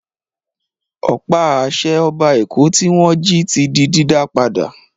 Ọ̀pá-àṣẹ Ọba Èkó tí wọ́n jí di dídá padà.